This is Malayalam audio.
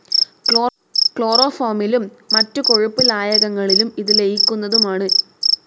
ക്ലോറോഫോമിലും മറ്റു കൊഴുപ്പ് ലായകങ്ങളിളും ഇത് ലയിക്കുന്നതുമാണ്.